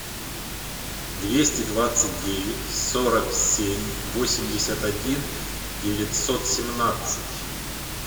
двести двадцать девять сорок семь восемьдесят один девятьсот семнадцать